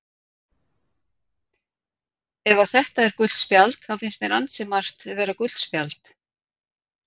Ef að þetta er gult spjald þá finnst mér ansi margt vera gult spjald.